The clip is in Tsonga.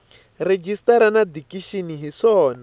rejistara na dikixini hi swona